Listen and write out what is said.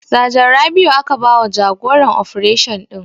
Sajan Rabiu aka ba wa jagoran ofration ɗin